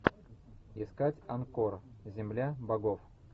искать анкор земля богов